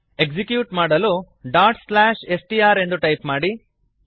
execute ಮಾಡಲು str dot slash S T R ಎಂದು type ಮಾಡಿ